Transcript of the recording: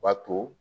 B'a to